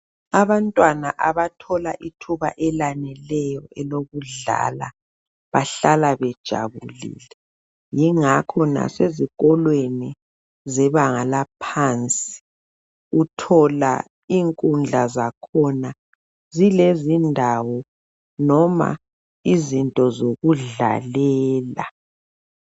abantwana abathola ithuba elaneleyo elokudlala bahlala bejabulile yingakho lase ezikolweni zebanga laphansi uthola inkundla zakhona zilezindawo noma izinto zokudlalela